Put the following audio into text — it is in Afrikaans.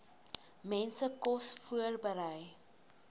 mense kos voorberei